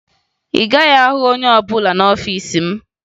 Ị gaghị ahụ oche ọbụla n'ọfiisi m